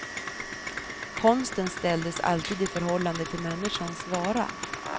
Konsten ställdes alltid i förhållande till människans vara.